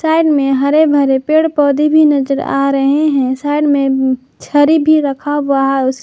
Side में हरे भरे पेड़ पौधे भी नजर आ रहे हैं साइड में छड़ी भी रखा हुआ है।